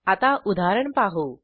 आता उदाहरण पाहू